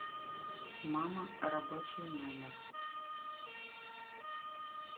мама рабочий номер